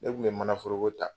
Ne tun bɛ mana foroko ta.